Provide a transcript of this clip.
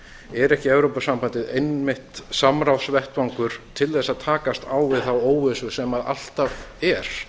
er ekki evrópusambandið einmitt samráðsvettvangur til að takast á við þá óvissu sem alltaf er